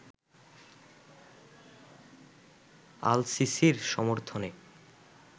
আল-সিসির সমর্থনে